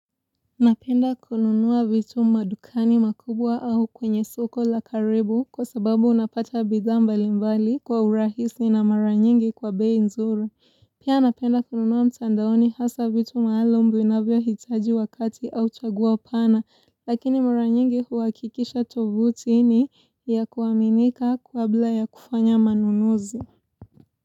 Napenda kununua vitu madukani makubwa au kwenye soko la karibu kwa sababu unapata bidhaa mbalimbali kwa urahisi na mara nyingi kwa bei nzuri Pia napenda kununua mtandaoni hasa vitu maalum vinavyohitaji wakati au chaguo pana. Lakini mara nyingi huhakikisha tofauti ni ya kuaminika kabla ya kufanya manunuzi.